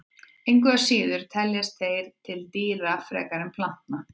Engu að síður teljast þeir til dýra frekar en plantna.